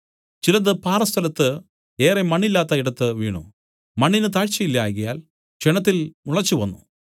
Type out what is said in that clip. ചിലത് പാറസ്ഥലത്ത് ഏറെ മണ്ണില്ലാത്ത ഇടത്ത് വീണു മണ്ണിന് താഴ്ചയില്ലായ്കയാൽ ക്ഷണത്തിൽ മുളച്ചുവന്നു